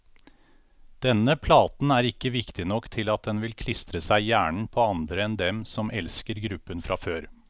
Denne platen er ikke viktig nok til at den vil klistre seg i hjernen på andre enn dem som elsker gruppen fra før.